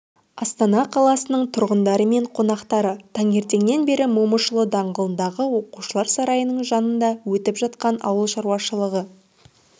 астана қаласының тұрғындары мен қонақтары таңертеңнен бері момышұлы даңғылындағы оқушылар сарайының жанында өтіп жатқан ауыл шаруашылығы